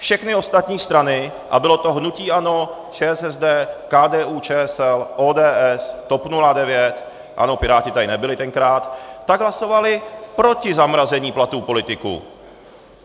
Všechny ostatní strany, a bylo to hnutí ANO, ČSSD, KDU-ČSL, ODS, TOP 09 - ano, Piráti tady nebyli tenkrát - tak hlasovali proti zamrazení platů politiků.